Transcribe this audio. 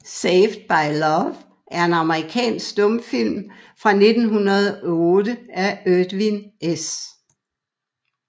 Saved by Love er en amerikansk stumfilm fra 1908 af Edwin S